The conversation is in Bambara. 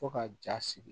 Fo ka ja sigi